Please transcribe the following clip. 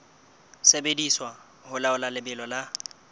sebediswa ho laola lebelo la